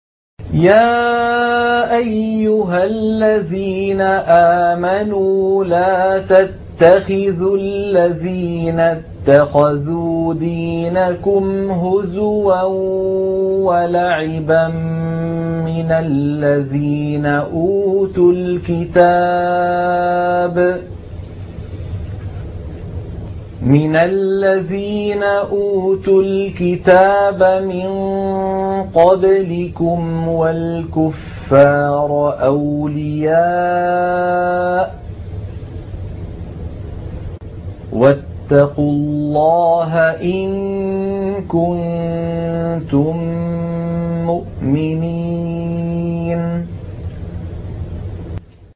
يَا أَيُّهَا الَّذِينَ آمَنُوا لَا تَتَّخِذُوا الَّذِينَ اتَّخَذُوا دِينَكُمْ هُزُوًا وَلَعِبًا مِّنَ الَّذِينَ أُوتُوا الْكِتَابَ مِن قَبْلِكُمْ وَالْكُفَّارَ أَوْلِيَاءَ ۚ وَاتَّقُوا اللَّهَ إِن كُنتُم مُّؤْمِنِينَ